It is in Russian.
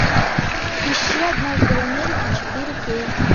ищи однажды в америке четыре кей